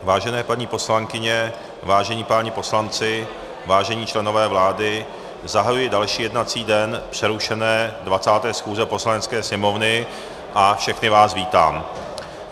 Vážené paní poslankyně, vážení páni poslanci, vážení členové vlády, zahajuji další jednací den přerušené 20. schůze Poslanecké sněmovny a všechny vás vítám.